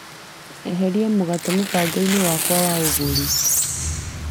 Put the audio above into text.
Eheria mũgate mũbango-inĩ wakwa wa ũgũri.